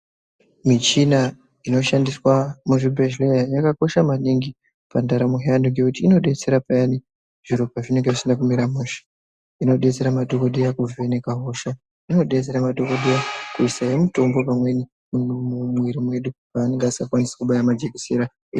Michina iñoshandiswa muzvibhedhlera yakakosha maningi pandaramo yevantu ngekuti inodetsera maningi payani zviro pazvinenge zvisina kumira mushe inodetsera madhokodheya kuvheneka hosha inodetsera madhokodheya kuisawo mutombo pamweni mumuviri medu pavanenge vasingakwanisi kubaya majekesera.